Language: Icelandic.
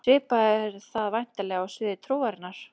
Svipað er það væntanlega á sviði trúarinnar.